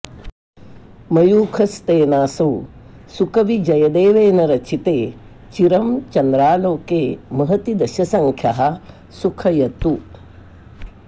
मयूखस्तेनासौ सुकविजयदेवेन रचिते चिरं चन्द्रालोके महति दशसङ्ख्यः सुखयतु